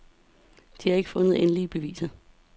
De har ikke fundet endelige beviser.